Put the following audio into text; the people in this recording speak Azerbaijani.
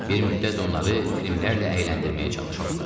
Bir müddət onları filmlərlə əyləndirməyə çalışırdılar.